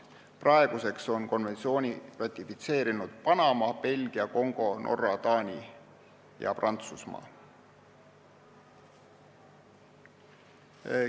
Praeguseks on konventsiooni ratifitseerinud Panama, Belgia, Kongo, Norra, Taani ja Prantsusmaa.